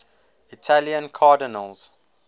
italian cardinals